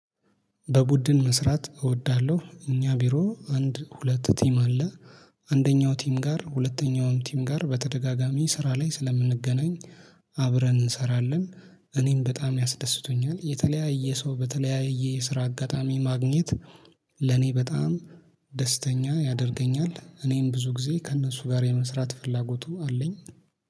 በቡድን መስራት እወዳለሁ። እኛ ቢሮ አንድ ሁለት ቲም አለ አንደኛው ቲም ጋር ሁለተኛውም ቲም ጋር በተደጋጋሚ ስራ ላይ ስለምንገናኝ አብረን እንሰራለን እኔም በጣም ያስደስተኛል የተለያየ ሰው በተለያየ የስራ አጋጣሚ ማግኘት ለኔ በጣም ደስተኛ ያደርገኛል እኔም ብዙ ጊዜ ከእነሱ ጋር የመስራት ፍላጎቱ አለኝ።